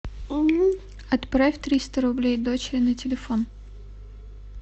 отправь триста рублей дочери на телефон